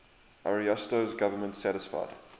ariosto's government satisfied